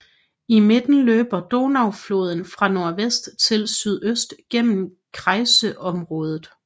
I midten løber Donaufloden fra nordvest til sydøst gennem kreisområdet